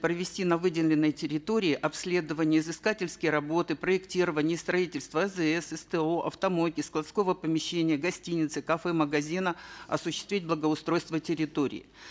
провести на выделенной территории обследование изыскательские работы проектирование и строительство азс сто автомойки складского помещения гостиницы кафе магазина осуществить благоустройство территории